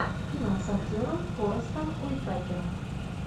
кино с актером форестом уитакером